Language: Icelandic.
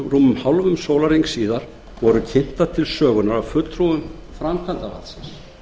rúmum hálfum sólarhring síðar voru kynntar til sögunnar af fulltrúum framkvæmdarvaldsins